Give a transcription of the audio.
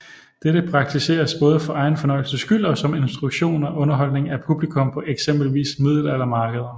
Dette praktiseres både for egen fornøjelses skyld og som instruktion og underholdning af publikum på eksempelvis middelaldermarkeder